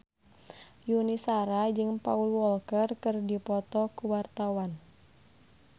Yuni Shara jeung Paul Walker keur dipoto ku wartawan